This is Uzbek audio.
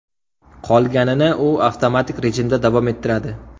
Qolganini u avtomatik rejimda davom ettiradi.